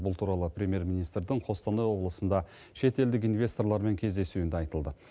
бұл туралы премьер министрдің қостанай облысында шетелдік инвесторлармен кездесуінде айтылды